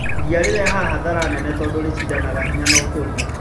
Ria rĩrehaga hathara nene tondũ rĩshindanagĩra hinya wa ũkũria